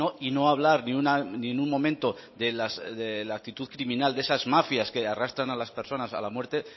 y no hablar ni en un momento de la actitud criminal de esas mafias que arrastran a las personas a la muerte